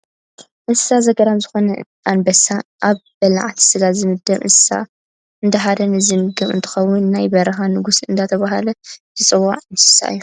እንስሳ ዘገዳም ዝኮነ ኣንበሳ ኣብ በላዕቲ ስጋ ዝምደብ እንስሳታት እንዳሃደነ ዝምገብ እንትከውን ፣ ናይ በረካ ንጉስ እንዳተባሃለ ዝፅዋዕ እንስሳ እዩ።